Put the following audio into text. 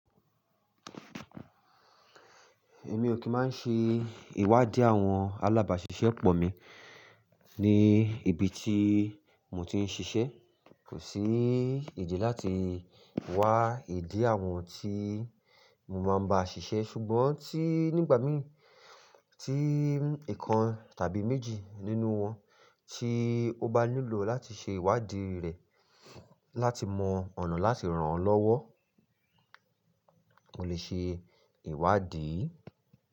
Èmi ò kí máa ń ṣe ìwádìí àwọn alábàáṣiṣẹ́ pọ̀ mi ní ibi tí mo ti ń ṣiṣẹ́. Kò sí ìdí láti wá ìdí àwọn tí mo máa ń bá ṣiṣẹ́. Ṣùgbọ́n tí nígbà mí tí ìkan tàbí méjì nínú wọn tí ó bá nílò láti ṣe ìwádìí rẹ̀ láti mọ ọ̀nà láti ràn án lọ́wọ́, mo lè ṣe ìwádìí.